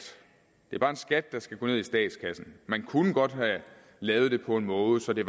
det er bare en skat der skal gå ned i statskassen man kunne godt have lavet det på en måde så det